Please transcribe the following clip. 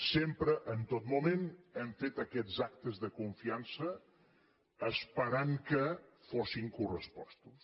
sempre en tot moment hem fet aquests actes de confiança esperant que fossin correspostos